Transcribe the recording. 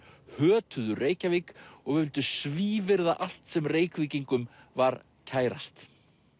hötuðu Reykjavík og vildu svívirða allt sem Reykvíkingum var kærast